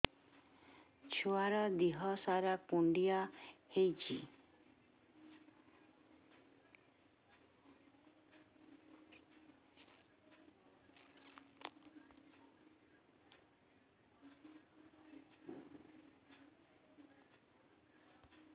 ଛୁଆର୍ ଦିହ ସାରା କୁଣ୍ଡିଆ ହେଇଚି